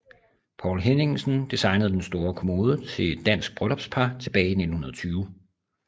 Poul Henningsen designede den store kommode til et dansk bryllupspar tilbage i 1920